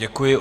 Děkuji.